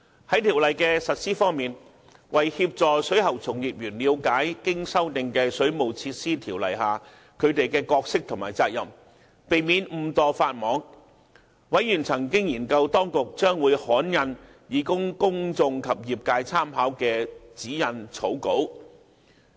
在條例的實施方面，為協助水喉從業員了解經修訂的《水務設施條例》下他們的角色和責任，以免誤墮法網，委員曾研究當局將會刊印以供公眾及業界參考的指引草稿。